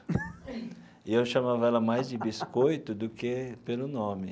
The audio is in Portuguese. E eu chamava ela mais de Biscoito do que pelo nome.